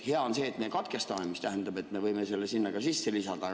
Hea on see, et me katkestame, mis tähendab, et me võime selle sinna sisse lisada.